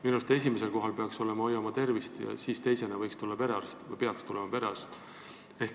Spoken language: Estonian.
Minu meelest peaks esimesel kohal olema "Hoiame tervist" ja teisena võiks tulla või peaks tulema perearst.